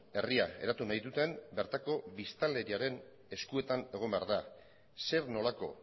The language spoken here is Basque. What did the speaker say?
herria eratu nahi duten bertako biztanleriaren eskuetan egon behar da zer nolako